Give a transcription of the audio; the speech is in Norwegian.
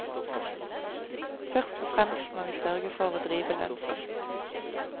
Først og fremst må vi sørge for å drive lønnsomt.